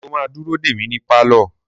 Sọ ma dúró dè mí ní pálọ̀?